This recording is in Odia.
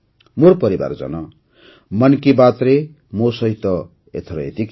ମୋର ପରିବାରଜନ ମନ୍ କି ବାତ୍ରେ ମୋ ସହିତ ଏଥର ଏତିକି